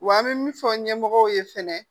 Wa an bɛ min fɔ ɲɛmɔgɔw ye fɛnɛ